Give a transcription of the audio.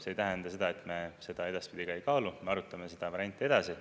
See ei tähenda seda, et me seda edaspidi ei kaalu, me arutame seda varianti edasi.